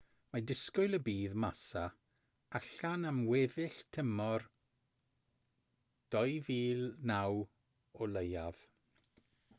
mae disgwyl y bydd massa allan am weddill tymor 2009 o leiaf